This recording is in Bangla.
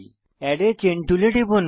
এড a চেইন টুলে টিপুন